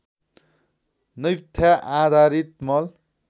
naphtha आधारित मल